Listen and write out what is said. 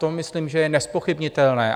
To myslím, že je nezpochybnitelné.